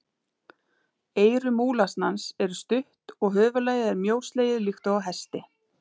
Eyru múlasnans eru stutt og höfuðlagið er mjóslegið líkt og á hesti.